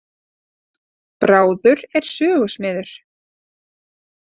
Bráður er sögusmiður.